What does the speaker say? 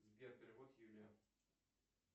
сбер перевод юлия